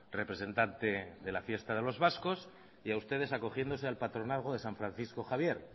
representante de la fiesta de los vascos y a ustedes acogiéndose al patronazgo de san francisco javier